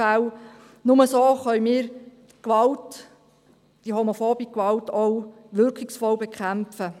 Nur so können wir Gewalt, homophobe Gewalt, auch wirkungsvoll bekämpfen.